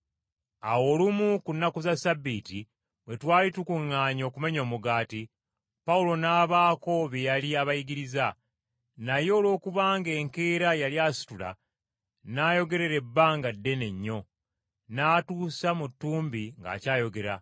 Awo olumu ku nnaku za ssabbiiti, bwe twali tukuŋŋaanye okumenya omugaati, Pawulo n’abaako bye yali abayigiriza. Naye olwokubanga enkeera yali asitula, n’ayogerera ebbanga ddene nnyo, n’atuusa mu ttumbi ng’akyayogera!